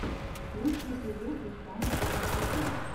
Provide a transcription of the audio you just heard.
лучший эпизод рустама губайдуллина